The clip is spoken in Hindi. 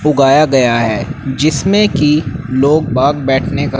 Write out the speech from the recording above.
उगाया गया है जिसमें कि लोग बाग बैठने का--